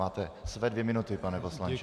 Máte své dvě minuty, pane poslanče.